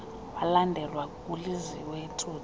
walandelwa nguliziwe tsotsi